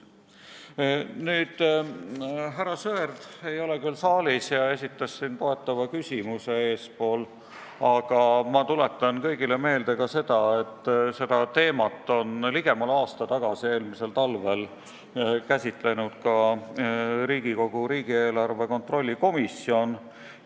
Härra Sõerd ei ole küll saalis ja esitas oma toetava küsimuse enne, aga ma tuletan kõigile meelde, et seda teemat on ligemale aasta tagasi, eelmisel talvel käsitlenud ka Riigikogu riigieelarve kontrolli erikomisjon.